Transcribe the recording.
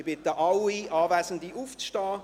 Ich bitte alle Anwesenden, aufzustehen.